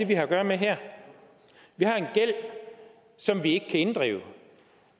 vi har at gøre med her vi har en gæld som vi ikke kan inddrive